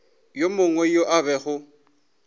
yo mongwe yo a bego